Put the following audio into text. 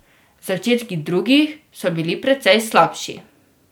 Začetki drugih so bili precej slabši.